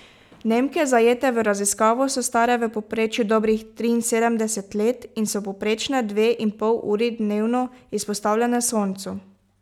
Nemke, zajete v raziskavo so stare v povprečju dobrih triinsedemdeset let in so povprečno dve in pol uri dnevno izpostavljene soncu.